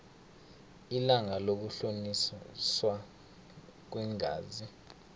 ilanga lokuhloliswa kweengazi